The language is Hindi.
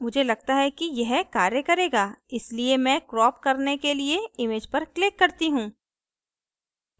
मुझे लगता है कि यह कार्य करेगा इसलिए मैं crop करने के लिए image पर click करती हूँ